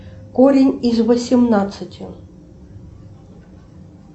корень из восемнадцати